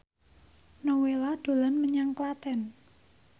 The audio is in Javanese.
Nowela dolan menyang Klaten